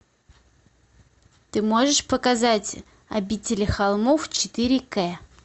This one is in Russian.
ты можешь показать обители холмов четыре к